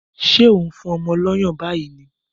Ṣé ò ń fún ọmọ lọ́yàn báyìí ni?